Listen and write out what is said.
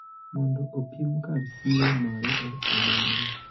mondo opim kar siro mare e alworano.